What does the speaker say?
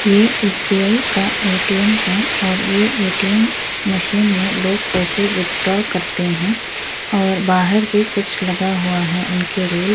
ये एस.बी.आई. का ए.टी.एम. है और ये ए.टी.एम. मशीन में लोग पैसे विथड्रॉ करते हैं और बाहर भी कुछ लगा हुआ है उनके रूल --